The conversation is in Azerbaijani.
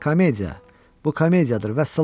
Komediya, bu komediyadır, vəssalam!